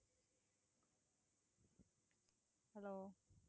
hello